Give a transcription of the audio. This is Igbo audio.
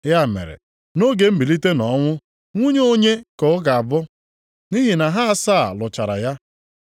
Ya mere, nʼoge mbilite nʼọnwụ nwunye onye ka ọ ga-abụ? Nʼihi na ha asaa lụchara ya?”